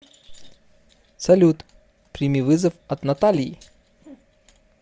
салют прими вызов от натальи